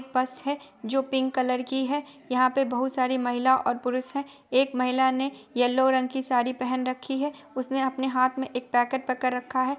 बस है जो पिंक कलर की है| यहाँ पर बहुत सारी महिला और पुरुष है| एक महिला ने येल्लो रंग की साड़ी पेहन रखी है| उसने अपने हाथ में एक पैकेट पकड़ रखा है।